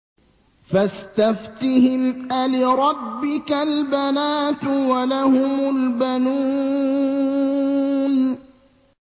فَاسْتَفْتِهِمْ أَلِرَبِّكَ الْبَنَاتُ وَلَهُمُ الْبَنُونَ